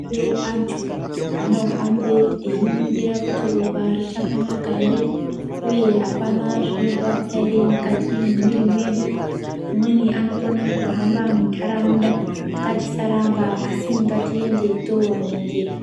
Anthu anohambe einingira kuti ropa richakanaka ere uye apana zvinorwadza ere mukati memwiri mwedu .Amweni anokone kuhamba muntaraunda .Ngatisaramba, asi ngatiende tooningirwa.